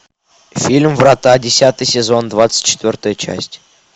фильм врата десятый сезон двадцать четвертая часть